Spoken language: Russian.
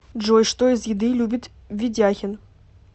джой что из еды любит ведяхин